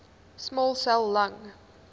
small cell lung